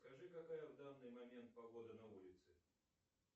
скажи какая в данный момент погода на улице